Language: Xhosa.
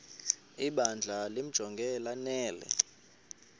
ibandla limjonge lanele